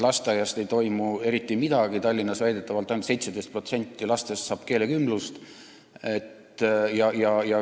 Lasteaias ei toimu eriti midagi, Tallinnas saab väidetavalt ainult 17% lastest keelekümblust.